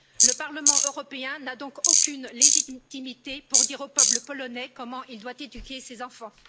Le Parlement européen n'a donc aucune légitimité pour dire au peuple polonais comment il doit éduquer ses enfants.